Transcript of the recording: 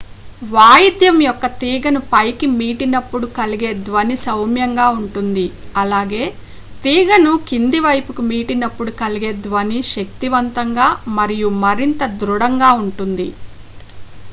వాయిద్యం యొక్క తీగను పైకి మీటినప్పుడు కలిగే ధ్వని సౌమ్యంగా ఉంటుంది అలాగే తీగను కింది వైపుకి మీటినప్పుడు కలిగే ధ్వని శక్తివంతంగా మరియు మరింత దృఢంగా ఉంటుంది